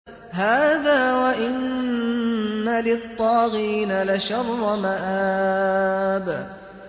هَٰذَا ۚ وَإِنَّ لِلطَّاغِينَ لَشَرَّ مَآبٍ